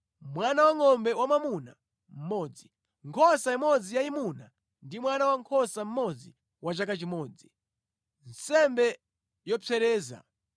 mwana wangʼombe wamwamuna mmodzi, nkhosa imodzi yayimuna ndi mwana wankhosa mmodzi wa chaka chimodzi, nsembe yopsereza;